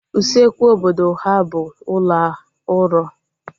Usekwu obodo ha bụ ụlọ uro